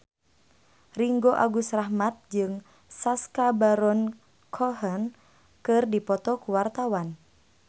Ringgo Agus Rahman jeung Sacha Baron Cohen keur dipoto ku wartawan